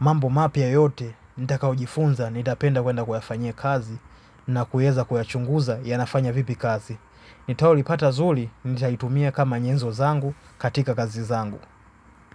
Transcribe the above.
Mambo mapya yote nitakaujifunza nitapenda kwenda kuyafanya kazi na kueza kuyachunguza yanafanya vipi kazi. Nitaolipata zuri nitaitumia kama nyezo zangu katika kazi zangu.